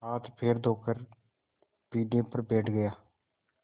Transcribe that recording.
हाथपैर धोकर पीढ़े पर बैठ गया